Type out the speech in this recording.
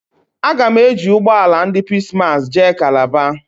Aga m eji ụgbọ ala ndị Peace massị jee Kalaba